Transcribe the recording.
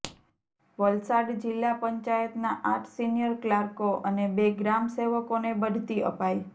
વલસાડ જિલ્લા પંચાયતના આઠ સિનિયર ક્લાર્કો અને બે ગ્રામસેવકોને બઢતી અપાઇ